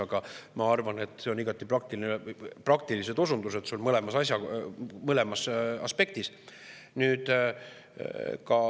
Aga ma arvan, et sul olid praktilised osundused mõlemas aspektis.